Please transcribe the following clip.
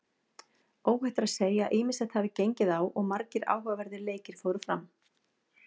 Óhætt er að segja að ýmislegt hafi gengið á og margir áhugaverðir leikir fóru fram.